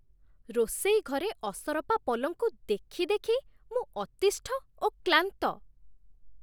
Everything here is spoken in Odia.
ରୋଷେଇ ଘରେ ଅସରପା ପଲଙ୍କୁ ଦେଖି ଦେଖି ମୁଁ ଅତିଷ୍ଠ ଓ କ୍ଳାନ୍ତ।